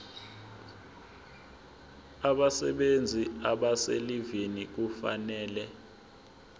abasebenzi abaselivini kufanele